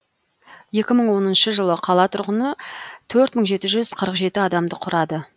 екі мың оныншы жылы қала тұрғыны төрт мың жеті жүз қырық жеті адамды құрады